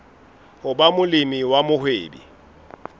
ho ba molemi wa mohwebi